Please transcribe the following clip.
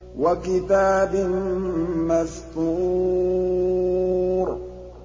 وَكِتَابٍ مَّسْطُورٍ